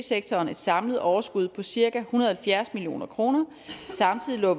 sektoren et samlet overskud på cirka en hundrede og halvfjerds million kroner samtidig lå